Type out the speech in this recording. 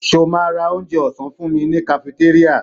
Ṣo ma ra onjẹ ọ̀sán fúnmi ní kafitéríà?